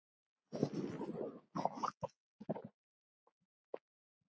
Á fjöllum uppi frostið beit.